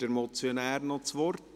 Wünscht der Motionär noch das Wort?